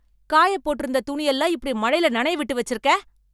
காயப் போட்டுருந்த துணி எல்லாம் இப்படி மழையில நனைய விட்டு வச்சிருக்க